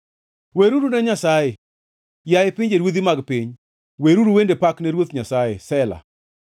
Weruru ne Nyasaye, yaye pinjeruodhi mag piny, weruru wende pak ne Ruoth Nyasaye, Sela